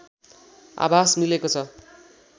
आभास मिलेको छ